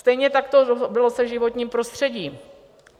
Stejně tak to bylo se životním prostředím.